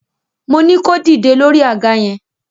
Moní kó dìde lórí àga yẹn!